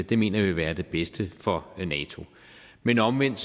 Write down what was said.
det mener vi vil være det bedste for nato men omvendt